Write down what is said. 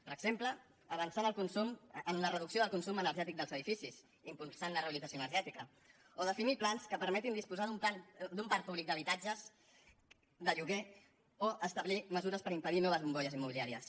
per exemple avançar en la reducció del consum energètic dels edificis impulsant la rehabilitació energètica o definir plans que permetin disposar d’un parc públic d’habitatges de lloguer o establir mesures per impedir noves bombolles immobiliàries